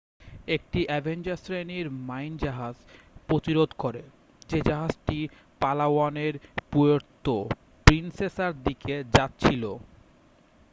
একটি অ্যাভেঞ্জার শ্রেণির মাইন জাহাজ প্রতিরোধ করে যে জাহাজটি পালাওয়ানের পুয়ের্তো প্রিন্সেসার দিকে যাচ্ছিল